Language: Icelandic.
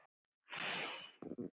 Blessuð sé minning pabba.